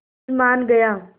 फिर मान गया